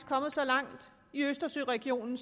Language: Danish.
kommet så langt i østersøregionen